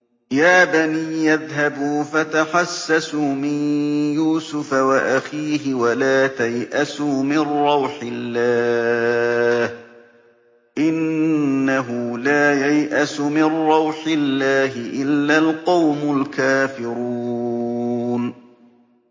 يَا بَنِيَّ اذْهَبُوا فَتَحَسَّسُوا مِن يُوسُفَ وَأَخِيهِ وَلَا تَيْأَسُوا مِن رَّوْحِ اللَّهِ ۖ إِنَّهُ لَا يَيْأَسُ مِن رَّوْحِ اللَّهِ إِلَّا الْقَوْمُ الْكَافِرُونَ